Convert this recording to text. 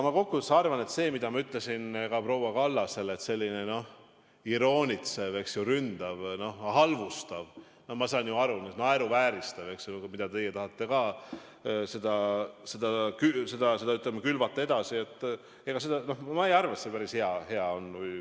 Ma kokkuvõttes arvan seda, mida ma ütlesin ka proua Kallasele, et selline iroonitsev, ründav, halvustav – ma saan ju aru –, naeruvääristav suhtumine, mida te tahate edasi külvata, ei ole minu arvates päris hea.